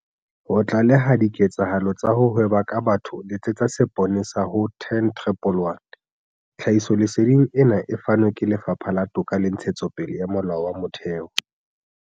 Ho tlaleha diketsahalo tsa ho hweba ka batho letsetsa seponesa ho- 10111. Tlhahisoleseding ena e fanwe ke Lefapha la Toka le Ntshetsopele ya Molao wa Motheo.